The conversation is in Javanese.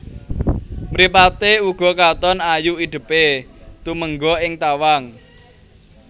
Mripaté uga katon ayu idèpé tumengga ing tawang